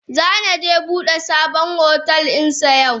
Sani ze bude sabon hotel dinsa yau.